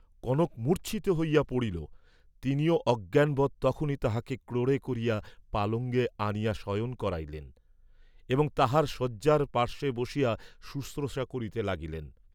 কনক মূর্চ্ছিত হইয়া পড়িল, তিনিও অজ্ঞানবৎ তখনি তাহাকে ক্রোড়ে করিয়া পালঙ্গে আনিয়া শয়ন করাইলেন এবং তাহার শয্যার পার্শ্বে বসিয়া শুশ্রূষা করিতে লাগিলেন।